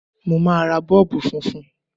Mo máa ra Bọ́ọ̀bù funfun.